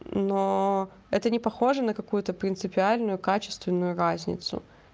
но это не похоже на какую-то принципиальную качественную разницу